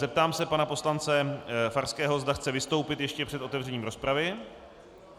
Zeptám se pana poslance Farského, zda chce vystoupit ještě před otevřením rozpravy.